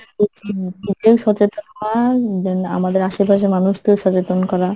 জি নিজেও সচেতন হওয়া then আমাদের আশপাশের মানুষদের সচেতন করা,